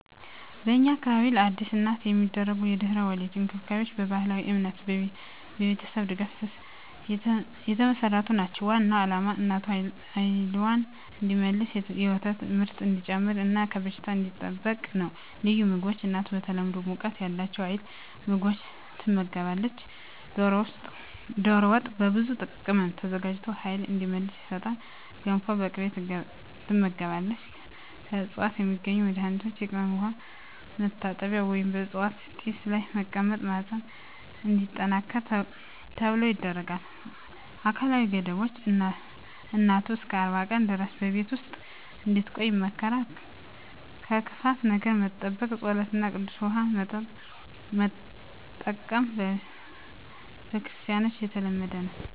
በእኛ አካባቢ ለአዲስ እናት የሚደረጉ የድህረ-ወሊድ እንክብካቤዎች በባህላዊ እምነትና በቤተሰብ ድጋፍ የተመሠረቱ ናቸው። ዋናው ዓላማ እናቱ ኃይልዋን እንዲመልስ፣ የወተት ምርት እንዲጨምር እና ከበሽታ እንዲጠበቅ ነው። ልዩ ምግቦች እናቱ በተለምዶ ሙቀት ያላቸው ኃይል ምግቦች ትመገባለች። ዶሮ ወጥ በብዙ ቅመም ተዘጋጅቶ ኃይል እንዲመልስ ይሰጣል። ገንፎ በቅቤ ትመገባለች። ከዕፅዋት የሚዘጋጁ መድኃኒቶች የቅመም ውሃ መታጠቢያ ወይም በዕፅዋት ጢስ ላይ መቀመጥ ማህፀን እንዲጠነክር ተብሎ ይደረጋል። አካላዊ ገደቦች እናቱ እስከ 40 ቀን ድረስ በቤት ውስጥ እንድትቆይ ይመከራል። ከክፉ ነገር መጠበቅ ጸሎት እና ቅዱስ ውሃ መጠቀም በክርስቲያኖች የተለመደ ነው።